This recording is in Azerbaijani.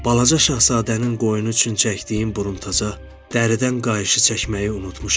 Balaca şahzadənin qoyunu üçün çəkdiyim buruntaça dəridən qayışı çəkməyi unutmuşam.